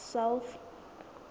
south